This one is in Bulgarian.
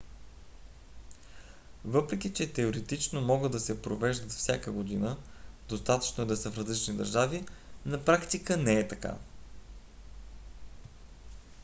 въпреки че теоретично могат да се провеждат всяка година достатъчно е да са в различни държави на практика не е така